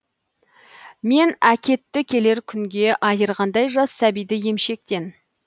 мен әкетті келер күнге айырғандай жас сәбиді емшектен